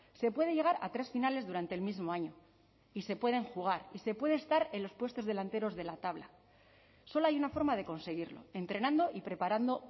se puede llegar a tres finales durante el mismo año y se pueden jugar y se puede estar en los puestos delanteros de la tabla solo hay una forma de conseguirlo entrenando y preparando